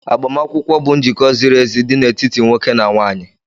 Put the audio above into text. Agbamakwụkwọ bụ njikọ ziri ezi dị n'etiti nwoke na nwaanyị